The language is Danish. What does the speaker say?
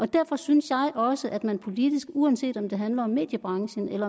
derfor synes jeg også at man politisk uanset om det handler om mediebranchen